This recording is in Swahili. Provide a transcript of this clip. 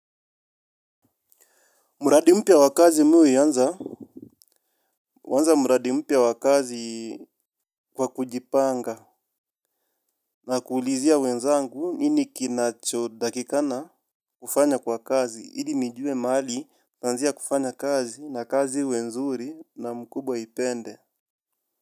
Mradi mpya wa kazi mi huianza? Huanza mradi mpya wa kazi kwa kujipanga. Na kuulizia wenzangu, nini kinacho takikana kufanya kwa kazi. Ili nijue mahali nitaanzia kufanya kazi na kazi iwe nzuri na mkubwa aipende.